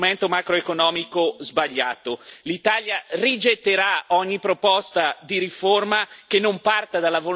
L'Italia rigetterà ogni proposta di riforma che non parta dalla volontà di ridurre questi squilibri.